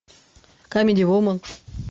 камеди вумен